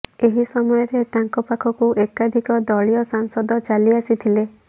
ଏହି ସମୟରେ ତାଙ୍କ ପାଖକୁ ଏକାଧିକ ଦଳୀୟ ସାଂସଦ ଚାଲି ଆସିଥିଲେ